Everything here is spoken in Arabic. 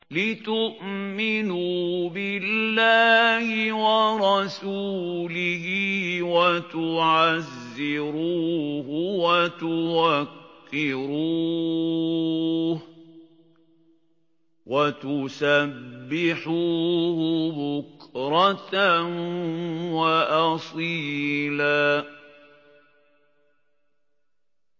لِّتُؤْمِنُوا بِاللَّهِ وَرَسُولِهِ وَتُعَزِّرُوهُ وَتُوَقِّرُوهُ وَتُسَبِّحُوهُ بُكْرَةً وَأَصِيلًا